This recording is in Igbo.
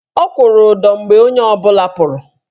Ọ kwụrụ ụdọ mgbe onye ọbụla pụrụ.